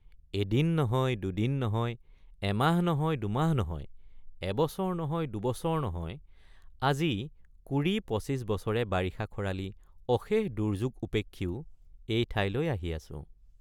এদিন নহয় দুদিন নহয় এমাহ নহয় দুমাহ নহয় এবছৰ নহয় দুবছৰ নহয় আজি কুৰিপঁচিশ বছৰে বাৰিষা খৰালি অশেষ দুৰ্যোগ উপেক্ষিও এই ঠাইলৈ আহি আছোঁ।